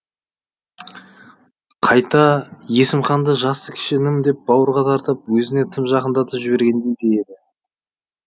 қайта есімханды жасы кіші інім деп бауырға тартып өзіне тым жақындатып жібергендей де еді